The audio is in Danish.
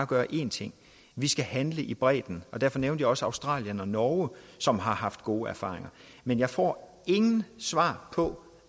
gøre én ting vi skal handle i bredden og derfor nævnte jeg også australien og norge som har haft gode erfaringer men jeg får intet svar på